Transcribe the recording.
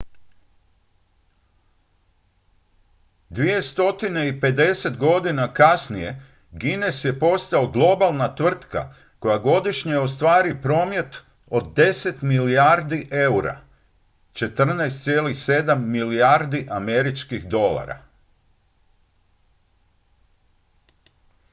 250 godina kasnije guinness je postao globalna tvrtka koja godišnje ostvari promet od 10 milijardi eura 14,7 milijardi usd